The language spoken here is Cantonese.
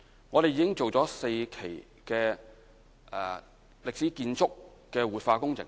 我們已做了4期歷史建築活化工程。